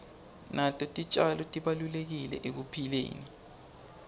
nato titjalo tibalulekile ekuphileni